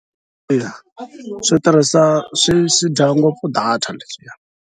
Yaa, swi tirhisa swi dya ngopfu data leswiya.